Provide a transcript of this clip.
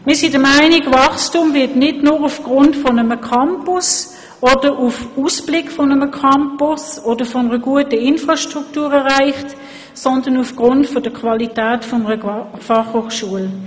Wir sind der Meinung, Wachstum werde nicht nur aufgrund eines Campus, der Aussicht auf einen solchen oder auf eine gute Infrastruktur erreicht, sondern aufgrund der Qualität einer Fachhochschule.